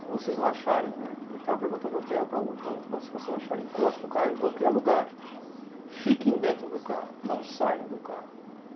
Se vocês não acharem, né, que a gente estava perguntando o hotel, para uma e para outra, se vocês não acharem, encosta o carro em qualquer lugar, fiquem dentro do carro, não saiam do carro.